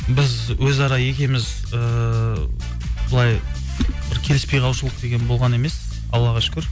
біз өзара екеуіміз ыыы былай бір келіспей қалушылық деген болған емес аллаға шүкір